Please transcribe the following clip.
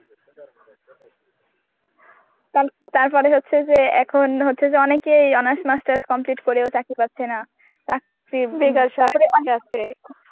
তার~তারপরে হচ্ছে যে এখন হচ্ছে যে অনেকেই honours master's complete করেও চাকরি পাচ্ছে না. চাকরি